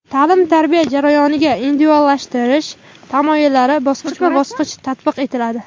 Ta’lim-tarbiya jarayoniga individuallashtirish tamoyillari bosqichma-bosqich tatbiq etiladi.